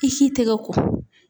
I si tɛgɛ ko.